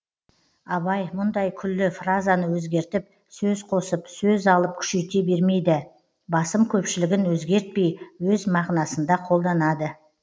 абай мұндай күллі фразаны өзгертіп сөз қосып сөз алып күшейте бермейді басым көпшілігін өзгертпей өз мағынасында қолданады